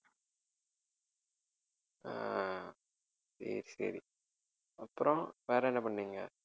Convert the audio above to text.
அஹ் சரி சரி அப்புறம் வேறென்ன பண்ணீங்க